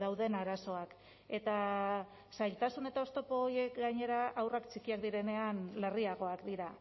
dauden arazoak eta zailtasun eta oztopo horiek gainera haurrak txikiak direnean larriagoak dira